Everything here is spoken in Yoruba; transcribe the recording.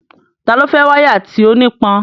Ta ló fẹ́ wáyà tí ó nípọn?